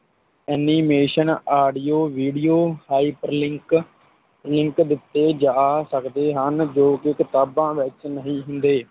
animation, audio, video, hyperlink, link ਦਿੱਤੇ ਜਾ ਸਕਦੇ ਹਨ ਜੋ ਕਿ ਕਿਤਾਬਾਂ ਵਿੱਚ ਨਹੀ ਹੁੰਦੇ।